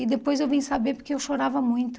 E depois eu vim saber porque eu chorava muito.